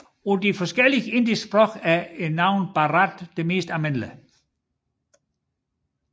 På de forskellige indiske sprog er navnet Bharat det mest almindelige